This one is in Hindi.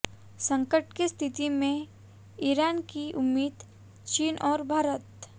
संकट की स्थिति में ईरान की उम्मीद चीन और भारत